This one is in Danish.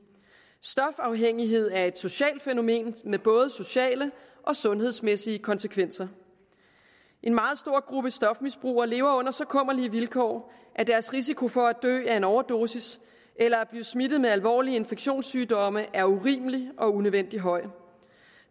stofafhængighed er et socialt fænomen med både sociale og sundhedsmæssige konsekvenser en meget stor gruppe stofmisbrugere lever under så kummerlige vilkår at deres risiko for at dø af en overdosis eller blive smittet med alvorlige infektionssygdomme er urimelig og unødvendig høj